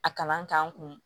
A kalan k'an kun